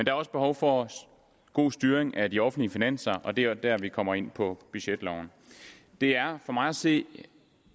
er også behov for god styring af de offentlige finanser og det er der vi kommer ind på budgetloven det er for mig at se